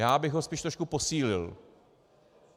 Já bych ho spíš trochu posílil.